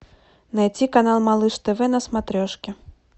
найти канал малыш тв на смотрешке